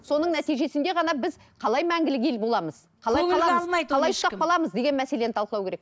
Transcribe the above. соның нәтижесінде ғана біз қалай мәңгілік ел боламыз қалай сақталамыз деген мәселені талқылау керек